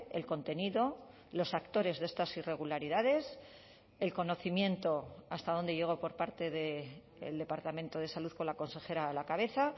el contenido los actores de estas irregularidades el conocimiento hasta dónde llegó por parte del departamento de salud con la consejera a la cabeza